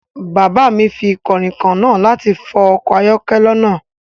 Bàbá mi fi kànrìnkàn náà láti fọ ọkọ̀ ayọ́kẹ́lẹ́ náà